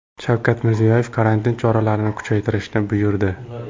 Shavkat Mirziyoyev karantin choralarini kuchaytirishni buyurdi.